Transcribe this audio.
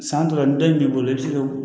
San tɔ la ni dɔ in b'i bolo i bi se ka